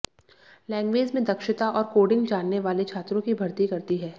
language में दक्षता और कोडिंग जानने वाले छात्रों की भर्ती करती है